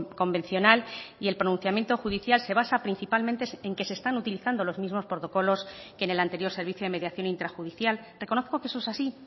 convencional y el pronunciamiento judicial se basa principalmente en que se están utilizando los mismos protocolos que en el anterior servicio de mediación intrajudicial reconozco que eso es así